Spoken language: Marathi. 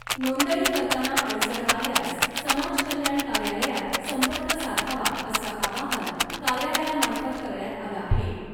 नोंदणी करताना अडचण आल्यास समाज कल्याण कार्यालयात संपर्क साधावा असं आवाहन , कार्यालयामार्फत करण्यात आलं आहे .